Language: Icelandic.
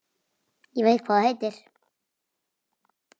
Ég veit hvað þú heitir.